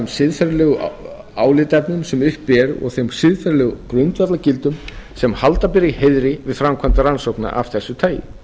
siðferðilegu álitaefnum sem uppi eru og þeim siðferðilegu grundvallargildum sem halda ber í heiðri við framkvæmd rannsókna af þessu tagi